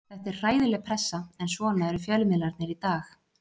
Þetta er hræðileg pressa en svona eru fjölmiðlarnir í dag.